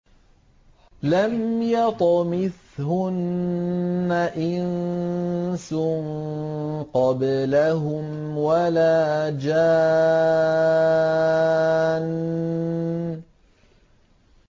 لَمْ يَطْمِثْهُنَّ إِنسٌ قَبْلَهُمْ وَلَا جَانٌّ